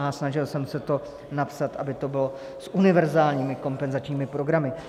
A snažil jsem se to napsat, aby to bylo s univerzálními kompenzačními programy.